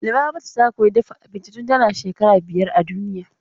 Lubabatu ta koyi dafa abinci tun tana shekara biyar a duniya.